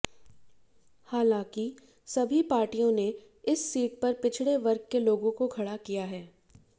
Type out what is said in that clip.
हालांकि सभी पार्टियों ने इस सीट पर पिछड़े वर्ग के लोगों को खड़ा किया है